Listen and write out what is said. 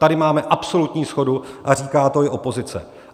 Tady máme absolutní shodu a říká to i opozice.